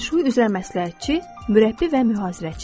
Fenşuy üzrə məsləhətçi, məşqçi və mühasibatçı.